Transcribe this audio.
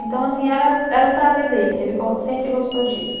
Então, assim era, era o prazer dele, ele go, sempre gostou disso.